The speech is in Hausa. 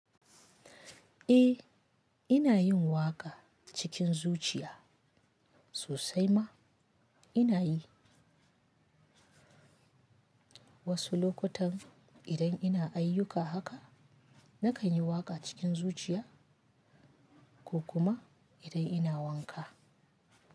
Eh, ina yin waƙa cikin zuciya sosai ma ina yi. Wasu lokutan idan ina ayyuka haka na kan yi waƙa cikin zuciya ko kuma idan ina wanka.